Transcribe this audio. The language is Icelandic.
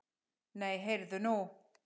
Nei, heyrðu nú!